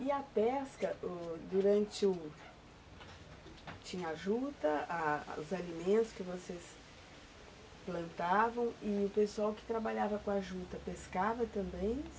E a pesca, ó, durante o... tinha a juta a, os alimentos que vocês plantavam e o pessoal que trabalhava com a juta, pescava também?